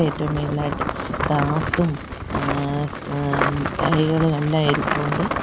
ഏറ്റവും മേളിലായിട്ട് ത്രാസും ഏഹ് ഏഹ് മുട്ടായികളും എല്ലാം ഇരിപ്പുണ്ട്.